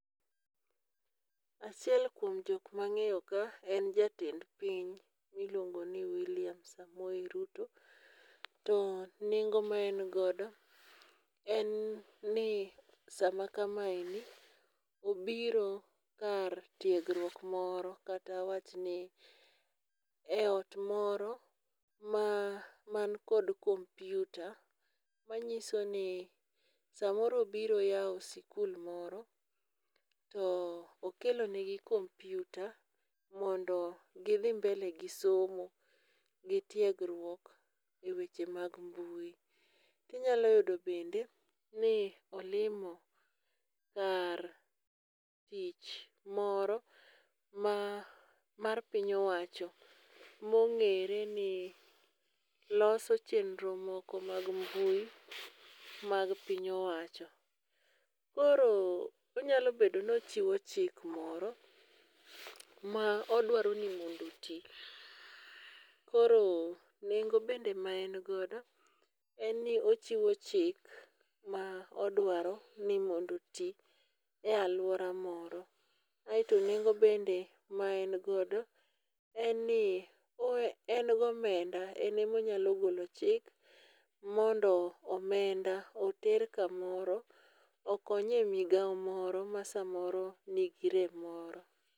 Achiel kuom jok ma ang'eyo ka en jatend piny mi iluongo ni willliam samoei Ruto. To nengo ma en godo en ni saa ma kama obiro kar tiegruok moro kata awach ni e ot moro man kod kompyuta ma ng'iso ni saa moro obiro yawo skul moro to okelo ne gi kompyta mondo gi dhi e mbele gi somo gi tiegre e weche mag mbui. inyalo yudo bende ni olimo kar tich moro ma mar piny owacho ma ong'ere ni loso chenro moko mag mbui mag piny owacho. Koro onyalo bedo ni ochiwo chik moro ma oduaro ni mondo oti. Koro nengo bende ma en godo en ni ochiwo chik ma odwaro ni mondo oti e aluora moro. Aito nengo bende ma en godo en ni en gi omenda en ema onyalo golo chik mondo omenda oter ka moro okony e migao moro ma saa moro ni gi rem moro.